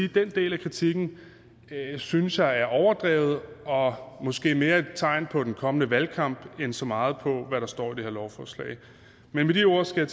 den del af kritikken synes jeg er overdrevet og måske mere et tegn på den kommende valgkamp end så meget på hvad der står i det her lovforslag med de ord skal